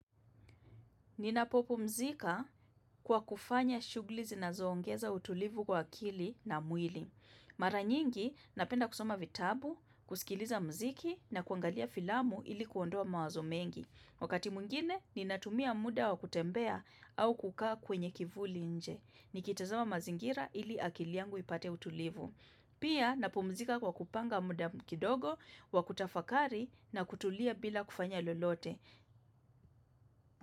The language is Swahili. Ninapopumzika kwa kufanya shughuli zinazoongeza utulivu kwa akili na mwili. Mara nyingi napenda kusoma vitabu, kusikiliza mziki na kuangalia filamu ili kuondoa mawazo mengi. Wakati mwngine, ninatumia muda wa kutembea au kukaa kwenye kivuli nje. Nikitazama mazingira ili akili yangu ipate utulivu. Pia napumzika kwa kupanga muda kidogo, wa kutafakari na kutulia bila kufanya lolote.